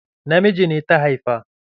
Namiji ne ta haifa?